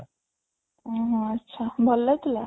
ଅଂ ହଃ ଆଛା ଭଲ ଲାଗୁଥିଲା?